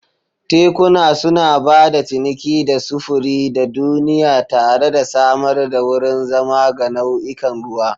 Tekuna suna ba da ciniki da sufuri a duniya tare da samar da wurin zama ga nau'ikan ruwa.